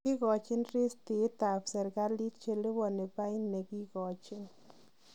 Kigochin ristiitit ab serkaliit cheliboni bain negiikoochi.